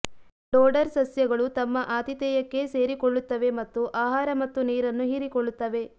dodder ಸಸ್ಯಗಳು ತಮ್ಮ ಆತಿಥೇಯಕ್ಕೆ ಸೇರಿಕೊಳ್ಳುತ್ತವೆ ಮತ್ತು ಆಹಾರ ಮತ್ತು ನೀರನ್ನು ಹೀರಿಕೊಳ್ಳುತ್ತವೆ